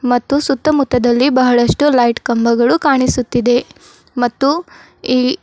ಮತ್ತು ಸುತ್ತಮುತ್ತದಲ್ಲಿ ಬಹಳಷ್ಟು ಲೈಟ್ ಕಂಬಗಳು ಕಾಣಿಸುತ್ತಿದೆ ಮತ್ತು ಈ --